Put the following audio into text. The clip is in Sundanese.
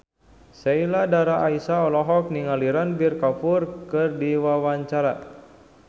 Sheila Dara Aisha olohok ningali Ranbir Kapoor keur diwawancara